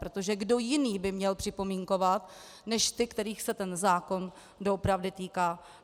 Protože kdo jiný by měl připomínkovat, než ti, kterých se ten zákon doopravdy týká?